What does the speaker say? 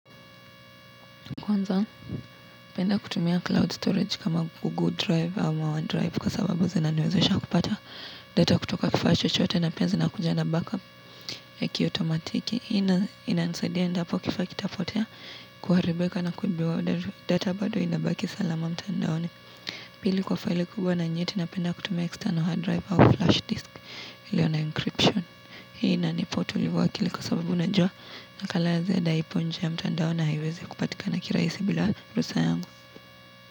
Kwanza, napenda kutumia cloud storage kama google drive ama drive kwa sababu zina niwezesha kupata data kutoka kifaa chochote na pia zinakuja na backup ya kio tomatiki. Hii inanisaidia endapo kifaa kitapotea kuharibika na kuibiwa data bado inabaki salama mtandaoni. Pili kwa file kubwa na nyeti napenda kutumia external hard drive au flash disk ilio na encryption. Hii inanipa utulivu wa akili kwa sababu unajua nakalazed aipo nje ya mtandao na haiwezi kupatika na kirahisi bila rusa yangu.